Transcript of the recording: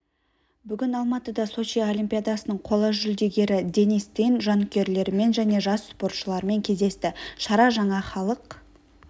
бүгін алматыда сочи олимпиадасының қола жүлдегері денис тен жанкүйерлерімен және жас спортшылармен кездесті шара жаңа халық